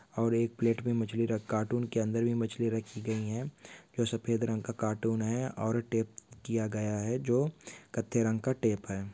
और एक पलेट में मछली र कार्टून के अंदर भी मछली रखी गई है जो शफेद रंग का कार्टून है और टेप किया गया है जो कथई रंग का टेप है।